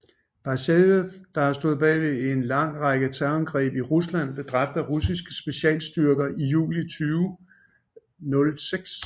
Basajev der har stået bag ved en lang række terrorangreb i Rusland blev dræbt af russiske specialstyrker i juli 2006